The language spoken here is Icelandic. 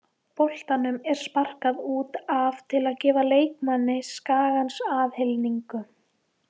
Boltanum er sparkað út af til að gefa leikmanni Skagans aðhlynningu.